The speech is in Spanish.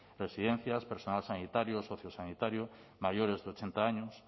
residencias personal sanitario sociosanitario mayores de ochenta años